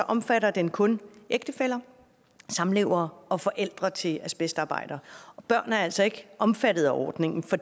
omfatter den kun ægtefæller samlevere og forældre til asbestarbejdere børn er altså ikke omfatter af ordningen og